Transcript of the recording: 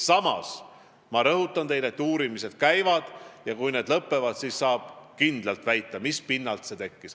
Samas ma rõhutan teile, et uurimine käib, ja kui see on lõppenud, siis saab kindlalt väita, mis pinnalt see tekkis.